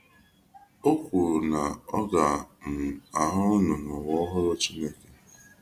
O kwuru na ọ ga um ahụ unu n'ụwa ọhụrụ Chineke.